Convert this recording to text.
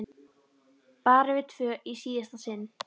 Bara við tvö í síðasta sinn.